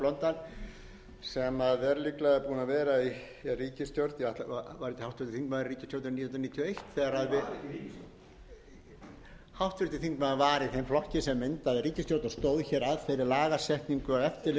í ríkisstjórninni nítján hundruð níutíu og eitt þegar við háttvirtur þingmaður var í þeim flokki sem myndaði ríkisstjórn og stóð hér að þeirri lagasetningu og eftirlitsumhverfi sem